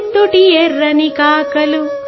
మంటలు లేచాయి